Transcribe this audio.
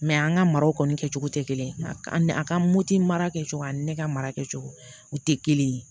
an ka maraw kɔni kɛcogo tɛ kelen ye a ka moto mara kɛcogo ani ne ka mara kɛcogo o tɛ kelen ye